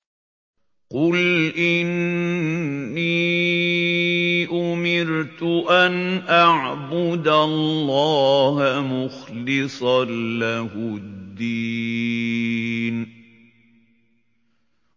قُلْ إِنِّي أُمِرْتُ أَنْ أَعْبُدَ اللَّهَ مُخْلِصًا لَّهُ الدِّينَ